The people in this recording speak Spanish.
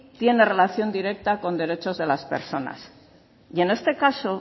tiene relación directa con derechos de las personas y en este caso